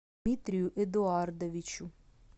дмитрию эдуардовичу